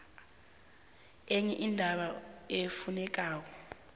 enye indaba efunekako